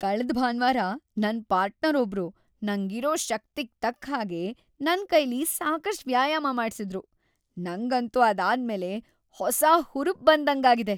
ಕಳ್ದ್ ಭಾನ್ವಾರ ನನ್ ಪಾರ್ಟ್ನರೊಬ್ರು ನಂಗಿರೋ ಶಕ್ತಿಗ್‌ ತಕ್ಕ್‌ಹಾಗೆ ನನ್ಕೈಲಿ ಸಾಕಷ್ಟ್ ವ್ಯಾಯಾಮ ಮಾಡ್ಸಿದ್ರು, ನಂಗಂತೂ ಅದಾದ್ಮೇಲೆ ಹೊಸ ಹುರ್ಪ್‌ ಬಂದಂಗಾಗಿದೆ.